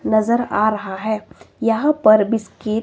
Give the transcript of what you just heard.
नजर आ रहा है यहां पर बिस्किट --